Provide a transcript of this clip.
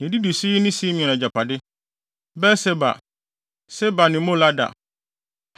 Na nea edidi so yi ne Simeon agyapade: Beer-Seba, Seba ne Molada,